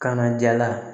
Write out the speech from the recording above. Kana jala